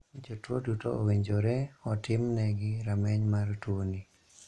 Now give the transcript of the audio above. Jotuo duto owinjore otim ne gi rameny mar tuoni.